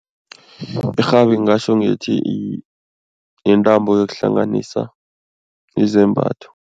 Irhabi ngingatjho ngithi yintambo yokuhlanganisa izembatho.